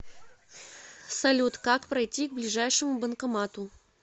салют как пройти к ближайшему банкомату